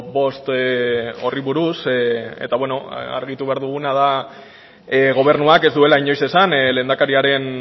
bost horri buruz eta argitu behar duguna da gobernuak ez duela inoiz esan lehendakariaren